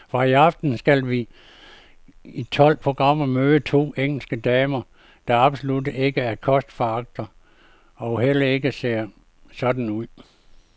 Fra i aften skal vi i tolv programmer møde to engelske damer, der absolut ikke er kostforagtere og heller ikke ser sådan ud.